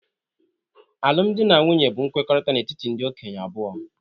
Alụmdi na nwunye bụ nkwekọrịta n'etiti ndị okenye abụọ